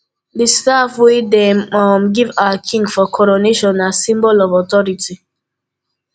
di staff wey dem um give our king for coronation na symbol of authority